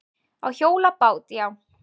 Á hjólabát, já.